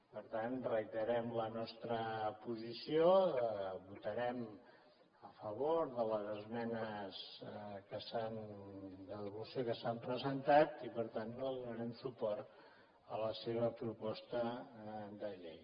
per tant reiterem la nostra posició votarem a favor de les esmenes de devolució que s’han presentat i per tant no donarem suport a la seva proposta de llei